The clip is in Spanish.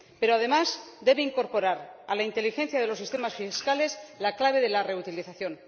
Pero, además, debe incorporar a la inteligencia de los sistemas fiscales la clave de la reutilización.